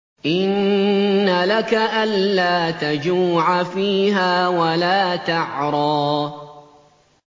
إِنَّ لَكَ أَلَّا تَجُوعَ فِيهَا وَلَا تَعْرَىٰ